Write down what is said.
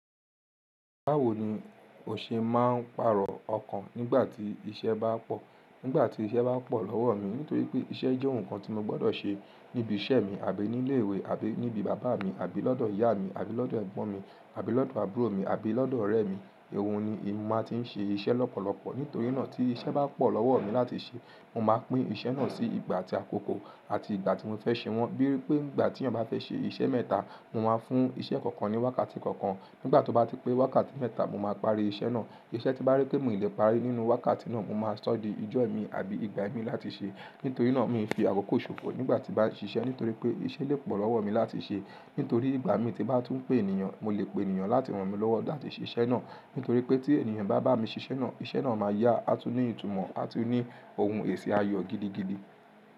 Báwo ni o ṣe máa ń pàrọ̀ ọkàn nígbà tí iṣẹ́ bá pọ̀? Nígbà tí iṣẹ́ bá pọ̀ lọ́wọ́ mi nítorí pé iṣẹ́ jẹ́ ohun kan tí mo gbọ́dọ̀ ṣe níbi iṣẹ́ mi àbí ní ilé ìwé àbí níbi bàbá mi àbí lọ́dọ̀ ìyá mi àbí lọ́dọ̀ ẹ̀gbọ́n mi àbí lọ́dọ̀ àbúrò mi àbí lọ́dọ̀ ọ̀rẹ́ mi, ohun ni èmi máa ti ń ṣe iṣẹ́ lọ́pọ̀lọpọ̀. Nítorí náà tí iṣẹ́ bá pọ̀ lọ́wọ́ mi láti ṣe, mo máa pín iṣẹ́ náà sí ìgbà àti àkókò àti ìgbà tí mo fẹ́ ṣe wọ́n. Bíi pé nígbà tí mo bá fẹ́ ṣe iṣẹ́ mẹ́ta, mo máa fún iṣẹ́ kọ̀ọ̀kan ní wákàtí kọ̀ọ̀kan. Nígbà tó bá ti pé wákàtí mẹ́ta, mo máa parí iṣẹ́ náà. Iṣẹ́ tí bá rí pé mì lè parí nínú wákàtí náà, mo máa ṣọ́ di ijó ẹ mi àbí ìgbà ẹ mi láti ṣe. Nítorí náà mi fi àkókò ṣòfò nígbà tí bá ń ṣiṣẹ́ nítorí pé iṣẹ́ lè pọ̀ lọ́wọ́ mi láti ṣe. Nítorí ìgbà mi tí bá tún pé ènìyàn, mo lè pe ènìyàn láti ràn mi lọ́wọ́ láti ṣe iṣẹ́ náà. Nítorí pé tí ènìyàn bá bá mi ṣe iṣẹ́ náà, iṣẹ́ náà máa yá a tún ní ìtumọ̀ a tún ní ohun èsì ayọ̀ gidigidi.